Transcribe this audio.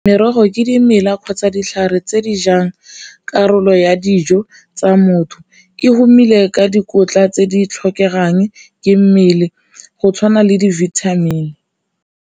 Merogo ke dimela kgotsa ditlhare tse di jang karolo ya dijo tsa motho, e tumile ka dikotla tse di tlhokegang ke mmele go tshwana le di-vitamin.